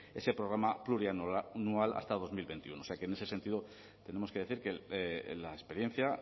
ese programa plurianual hasta dos mil veintiuno o sea que en ese sentido tenemos que decir que la experiencia